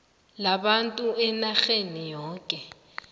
labantu enarheni yokana